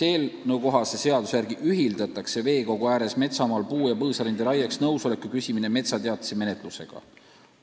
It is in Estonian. Eelnõukohase seaduse järgi ühildatakse veekogu ääres metsamaal puu- ja põõsarinde raieks nõusoleku küsimine metsateatise menetlusega.